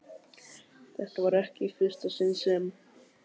Þetta var ekki í fyrsta sinn sem